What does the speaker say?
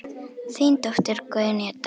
Þín dóttir, Guðný Edda.